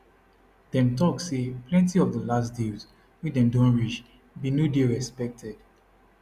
dem tok say plenti of di last deals wey dem don reach bin no dey respected